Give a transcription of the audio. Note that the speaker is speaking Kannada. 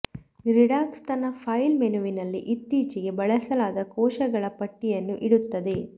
ರಿಡ್ನಾಕ್ಸ್ ತನ್ನ ಫೈಲ್ ಮೆನುವಿನಲ್ಲಿ ಇತ್ತೀಚೆಗೆ ಬಳಸಲಾದ ಕೋಶಗಳ ಪಟ್ಟಿಯನ್ನು ಇಡುತ್ತದೆ